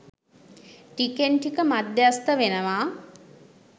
ටිකෙන් ටික මධ්‍යස්ථ වෙනවා